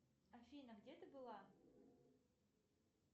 афина где ты была